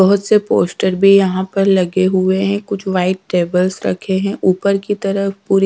बहोत से पोस्टर भी यहां पर लगे हुए है कुछ व्हाइट टेबल्स रखे हुए है ऊपर के तरफ पूरी--